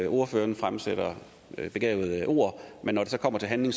ordføreren fremsætter begavede ord men når det så kommer til handling